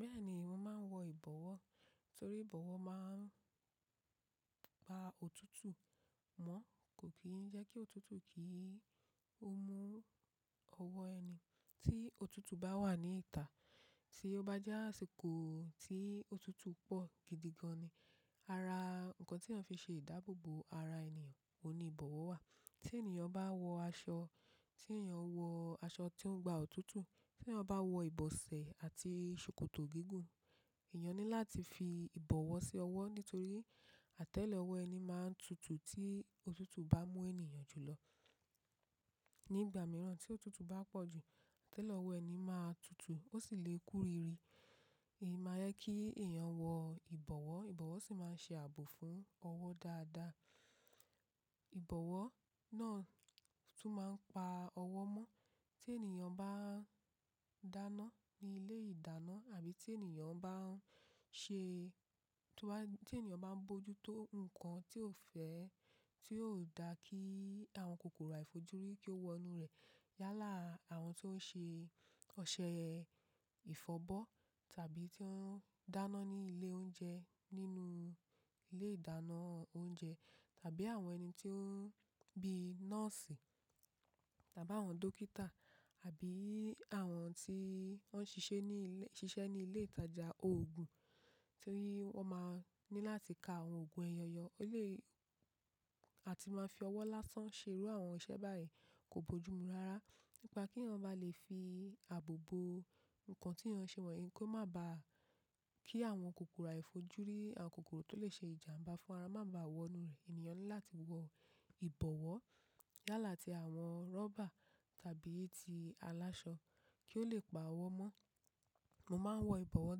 Bẹ́ẹ̀ni, mo máa ń wọ ìbọ̀wọ́ torí ìbọ̀wọ́ máa ń pa òtútù mọ́ kò kí ń jẹ́ kí òtútù kí ó mú ọwọ́ ẹni tí òtútù bá wà ní ìta. Tí ó bá jẹ́ àsìkò tí òtútù pọ̀ gidi gan ni ara ǹkan tí eeyan fi ṣe ìdáàbò bo ara ènìyàn, òní ìbọ̀wọ̀ wà. Tí ènìyàn bá wọ aṣọ, tí èeyàn wọ aṣọ tó ń gba òtútù, tí wọ́n bá wọ ìbọsẹ̀ àti ṣòkòtò gígùn, èèyàn ní láti fi ìbọ̀wọ́ sí ọwọ́ nítorí atẹ́lẹ̀ ọwọ́ ẹni máa ń tutù tí òtútù bá mú ènìyàn jù lọ. Ní ìgbà mìíràn tí òtútù bá pọ̀ jù, atẹ́lẹ̀ ọwọ́ ẹni máa tutù ó sì lè kúriiri. Èyí máa yẹ kí èèyàn wọ ìbọ̀wọ́, ìbọ̀wọ́ sì máa ń ṣe ààbò fún ọwọ́ dáadáa. Ìbọ̀wọ́ náà tún máa ń pa ọwọ́ mọ́. Tí ènìyàn bá ń dáná ní ilé ìdáná àbí tí ènìyàn bá ń ṣe-- tí wọ́n ba-- tí ènìyàn bá ń bojútó ǹkan tí ó fẹ́ tí ó dà kí àwọn kòkòrò àìfojúrí kí ó wọ inú rẹ̀ yálà àwọn tí ó ń ṣe ọṣẹ ìfọ̀bọ́ tàbí tí ó ń dáná ní ilé oúnjẹ nínú ilé ìdáná oúnjẹ tàbí àwọn ẹni tí ó ń bíi nọ́ọ̀sì tàbí àwọn dókítà àbí àwọn tí wọ́n ń ṣiṣẹ́ ní ilé, ṣiṣẹ́ ní ilé ìtajà òògùn torí wọ́n máa ní láti ka àwọn òògùn eyọ̀yọ́ ó lè àti máa fi ọwọ́ lásán ṣerú àwọn iṣẹ́ báyìí kò boojumu rárá. Nípa keyan bá lè fi àbò bo ǹkan tí eyan ṣe wọ́n, kí ó má bàá kí àwọn kòkòrò àìfojúrí, àwọn kòkòrò tó lè ṣe ìjàmbá fún ara má bàa wọ inú rẹ̀. Ènìyàn ní láti wọ ìbọ̀wọ́ yálà ti àwọn rọ́bà tàbí ti aláṣọ kí ó lè pa ọwọ́ mọ́. Mo máa ń wọ ìbọ̀wọ́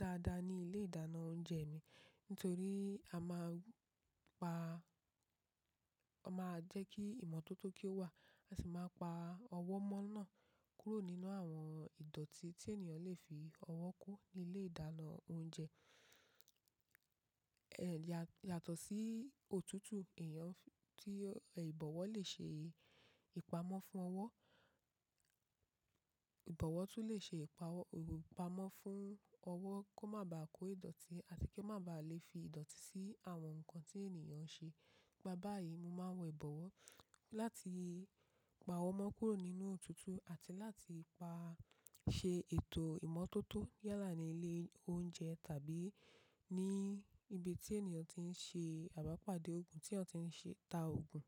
dáadáa ní ilé ìdáná oúnjẹ mi nítorí a máa ń pa, a máa jẹ́ kí ìmọ́tótó kí ó wà, a sì máa pa ọwọ́ mọ́ náà kúrò nínú àwọn ìdọ̀tí tí ènìyàn lè fi ọwọ́ kó ní ilé ìdáná oúnjẹ. Ẹ̀, yàtọ̀ sí òtútù èèyàn tí ìbọ̀wọ́ lè ṣe ìpamọ́ fún ọwọ́. Ìbọ̀wọ́ tún lè ṣe ìpa ọ-- ìpamọ́ fún ọwọ́ kó má bàá kó ìdọ̀tí àti kí ó má bàa lè fi ìdọ̀tí sí àwọn ǹkan tí ènìyàn ń ṣe. Nípa báyìí, mo máa ń wọ ìbọ̀wọ́ láti pa ọwọ́ mọ́ kúrò nínú òtútù àti láti pa-- ṣe ètò ìmọ́tótó yálà ní ilé oúnjẹ tàbí ní ibi tí ènìyàn tí ń ṣe àbápàdé òògùn, tí eyan ti ń ṣe ta òògùn.